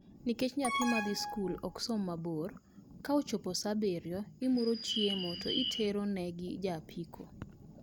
Nikech nyathi madhi skul ok som mabor, ka ochopo saa abiriyo, imuro chiemo to itero ne gi ja apiko